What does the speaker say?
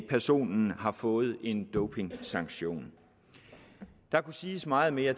personen har fået en dopingsanktion der kunne siges meget mere